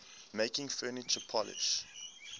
making furniture polish